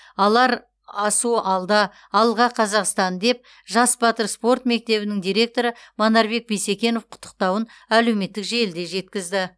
алар асу алда алға қазақстан деп жас батыр спорт мектебінің директоры манарбек бисекенов құттықтауын әлеуметтік желіде жеткізді